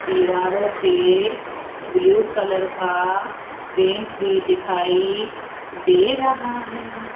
दीवारों पे blue colour का पेंट भी दिखाई दे रहा है।